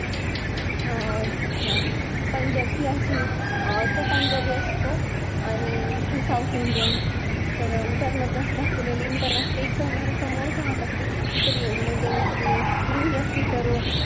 अं पंजाब ची अशी तो पंजाबी असतो आणि अं ही south indian असती तर त्या मध्ये असं दाखवलेल आहे intercaste एकदम घरासमोरच राहत असतेत तर मग ती रुही असती तर